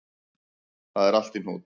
Það er allt í hnút